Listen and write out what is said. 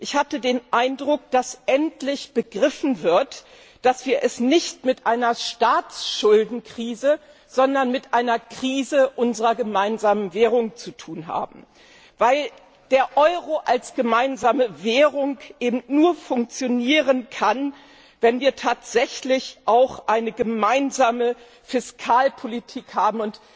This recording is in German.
Ich hatte den Eindruck, dass endlich begriffen wird, dass wir es nicht mit einer Staatsschuldenkrise, sondern mit einer Krise unserer gemeinsamen Währung zu tun haben, weil der Euro als gemeinsame Währung eben nur funktionieren kann, wenn wir tatsächlich auch eine gemeinsame Fiskalpolitik haben.